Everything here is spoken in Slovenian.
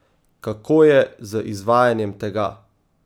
Kako je z izvajanjem tega?